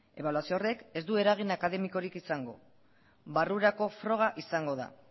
ebaluazio horrek ez du eragin akademikorik izango barrurako froga izango da